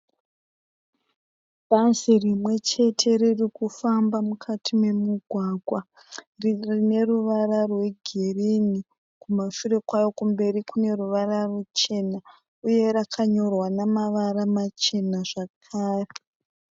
Bhazi rimwe chete riri kufamba mukati memugwagwa. Rine ruvara regirini. Kumberi kune ruvara ruchena. Uye rakanyorwa namavara machena zvakare.